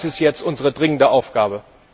Das ist jetzt unsere dringende Aufgabe.